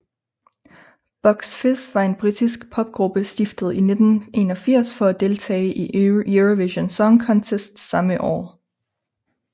Bucks Fizz var en britisk popgruppe stiftet i 1981 for at deltage i Eurovision Song Contest samme år